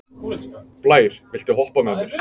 Blær, viltu hoppa með mér?